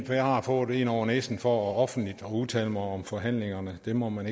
for jeg har fået en over næsen for offentligt at udtale mig om forhandlingerne det må man